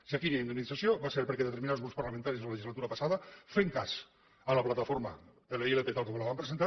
si aquí hi ha indemnització va ser perquè determinats grups parlamentaris la legislatura passada fent cas a la plataforma per la ilp tal com la van presentar